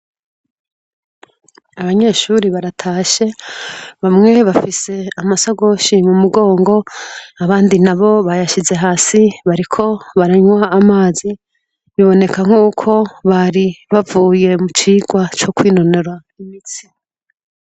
Abanyeshure baratashe bamwe bafise amasakoshi mumugongo abandi nabo bayashize hasi bariko baranywa amazi biboneka ko bari bavuye mucirwa co kwinonora imitsi .